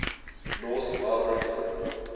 north melbourne football